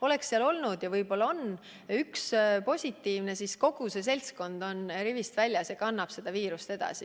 Oleks seal olnud – ja võib-olla oligi – üks positiivne, siis kogu see seltskond on rivist väljas ja kannab viirust edasi.